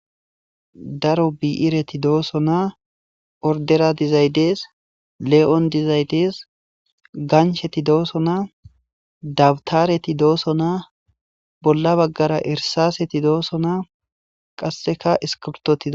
Daro bi'ireti dooso naa ordera dizaydes le'on dizaydees gansheti dooso naa dabtareti dooso naa bolla baggara ersaseti dooso naa qasseka iskibtotida.